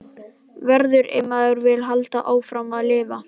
Verður- ef maður vill halda áfram að lifa.